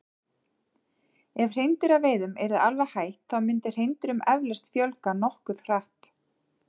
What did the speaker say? Ef hreindýraveiðum yrði alveg hætt þá myndi hreindýrum eflaust fjölga nokkuð hratt.